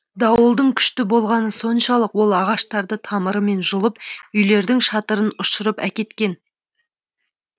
дауылдың күшті болғаны соншалық ол ағаштарды тамырымен жұлып үйлердің шатырын ұшырып әкеткен